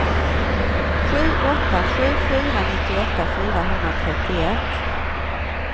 sju åtta sju fyra nittioåtta fyrahundratrettioett